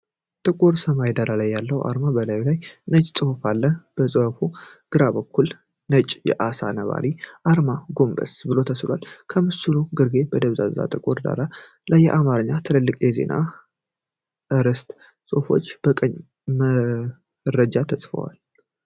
ጥቁር ሰማያዊ ዳራ ያለው አርማ፣ በላዩ ላይ ነጭ ጽሑፍ አለ። ከጽሑፉ ግራ በኩል ነጭ የዓሣ ነባሪ አርማ ጎንበስ ብሎ ተስሏል። ከምስሉ ግርጌ በደብዛዛ ጥቁር ዳራ ላይ በአማርኛ ትላልቅ የዜና አርዕስት ጽሑፎችና የቀን መረጃ ተጽፏል።